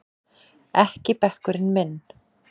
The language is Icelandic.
Ekki bekkurinn minn!